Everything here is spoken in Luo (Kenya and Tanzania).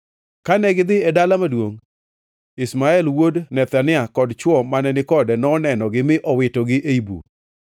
Kane gidhi e dala maduongʼ, Ishmael wuod Nethania kod chwo mane ni kode nonegogi mi owitogi ei bur.